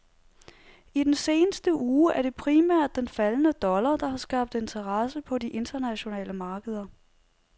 I den seneste uge er det primært den faldende dollar, der har skabt interesse på de internationale markeder.